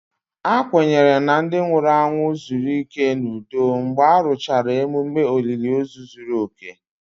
A kwenyere na ndị nwụrụ anwụ zuru ike n'udo mgbe a rụchara ememe olili ozu zuru oke